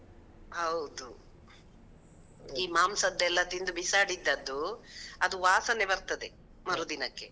ಹೌದು, ಈ ಮಾಂಸದೆಲ್ಲ ತಿಂದು ಬಿಸಾಡಿದ್ದದ್ದು, ಅದು ವಾಸನೆ ಬರ್ತದೆ ಮರುದಿನಕ್ಕೆ.